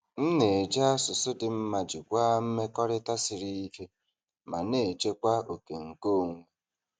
M na-eji asụsụ dị mma jikwaa mmekọrịta siri ike ma na-echekwa oke nkeonwe.